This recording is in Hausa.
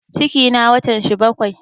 Cikina watan shi bakai